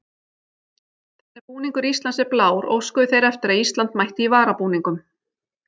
Þar sem búningur Íslands er blár óskuðu þeir eftir að Ísland mætti í varabúningum.